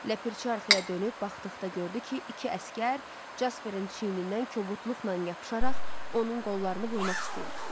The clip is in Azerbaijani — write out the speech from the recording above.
Ləpirçi arxaya dönüb baxdıqda gördü ki, iki əsgər Jasperin çiynindən kobudluqla yapışaraq onun qollarını vurmaq istəyir.